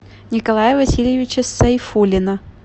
николая васильевича сайфуллина